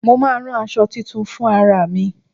Mo máa rán àṣọ tuntun fún ara mi.